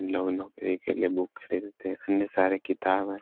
के लिए बुक खरीदते है अन्य सारे किताब है।